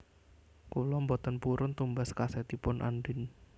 Kula mboten purun tumbas kasetipun Andien